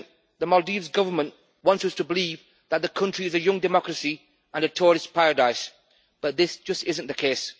The Maldives Government wants us to believe that the country is a young democracy and a tourist paradise, but this just isn't the case.